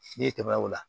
N'e tɛmɛna o la